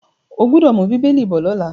O gbọ́dọ̀ mú “bíbélì” bọ̀ lọ́la.